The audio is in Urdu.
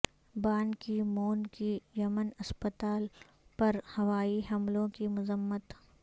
بان کی مون کی یمن اسپتال پر ہوائی حملوں کی مذمت